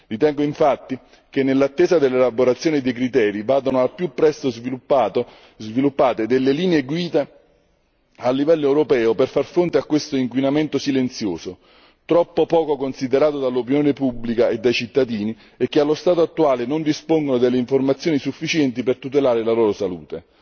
Ritengo infatti che nell'attesa dell'elaborazione dei criteri vadano al più presto sviluppate delle linee guida a livello europeo per far fronte a questo inquinamento silenzioso, troppo poco considerato dall'opinione pubblica e dai cittadini, che allo stato attuale non dispongono delle informazioni sufficienti per tutelare la loro salute.